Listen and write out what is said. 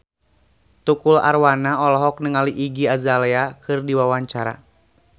Tukul Arwana olohok ningali Iggy Azalea keur diwawancara